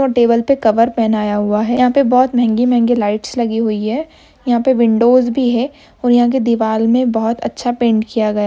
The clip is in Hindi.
टेबल पर कवर पहनाया हुआ है। यहाँ पे बोहत महँगी-महँगी लाइट्स लगी हुई है। यहाँ पे विंडोज भी है। और यहाँ की दीवाल में बोहत अच्छा पैंट किया गया।